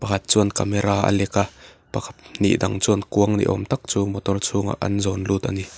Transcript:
pakhat chuan camera a lek a pahnih dang chuan kuang ni awm tak chu motor chhungah an zawn lut ani--